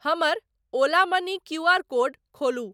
हमर Ola money QR code खोलू।